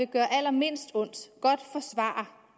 gøre allermindst ondt